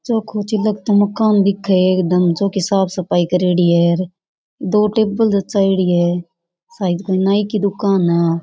छोको चिलक्तो मकान दिख है एकदम चौकी साफ सफाई करेड़ी है और दो टेबल जचायेड़ी है शायद कोई नाई की दुकान है आ।